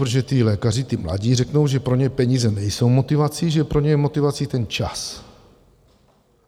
Protože ti lékaři, ti mladí, řeknou, že pro ně peníze nejsou motivací, že pro ně je motivací ten čas.